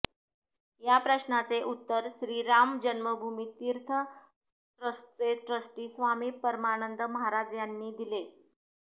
या प्रश्नाचे उत्तर श्री राम जन्मभूमी तीर्थ ट्रस्टचे ट्रस्टी स्वामी परमानंद महाराज यांनी दिले